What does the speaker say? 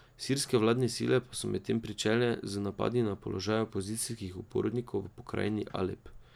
Sirske vladne sile pa so medtem pričele z napadi na položaje opozicijskih upornikov v pokrajini Alep.